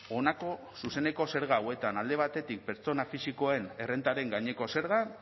honako zuzeneko zerga hauetan alde batetik pertsona fisikoen errentaren gaineko zerga